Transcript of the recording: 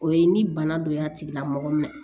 O ye ni bana don y'a tigila mɔgɔ minɛ